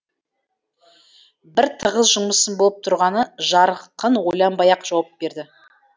бір тығыз жұмысым болып тұрғаны жарқын ойланбай ақ жауап берді